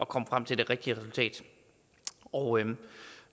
komme frem til det rigtige resultat og